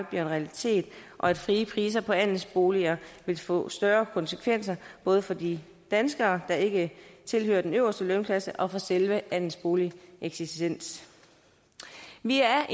bliver en realitet og at frie priser på andelsboliger vil få større konsekvenser både for de danskere der ikke tilhører den øverste lønklasse og for selve andelsboligens eksistens vi er